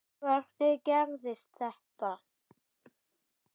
Hvernig gerðist þetta?